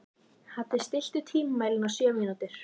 Haddi, stilltu tímamælinn á sjö mínútur.